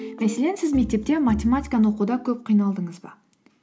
мәселен сіз мектепте математиканы оқуда көп қиналдыңыз ба